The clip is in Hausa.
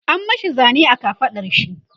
an mashi Zane a kafaɗar shi